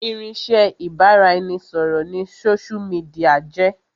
Irinsẹ́ ibà ra ẹni ṣọ̀rọ̀ ni sósú midià jẹ́